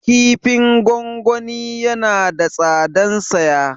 Kifin gwangwani yana da tsadan saya